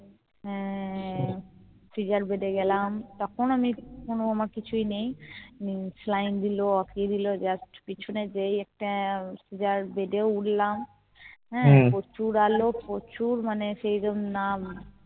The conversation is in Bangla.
scissor bed এ গেলাম তখনও আমি তখন আমার কিছুই নেই saline দিলো just পেছনে যেই একটা যার bed উঠলাম হ্যাঁ প্রচুর আলো প্রচুর মানে